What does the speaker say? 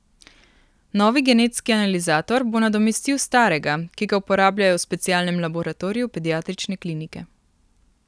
Novi genetski analizator bo nadomestil starega, ki ga uporabljajo v specialnem laboratoriju pediatrične klinike.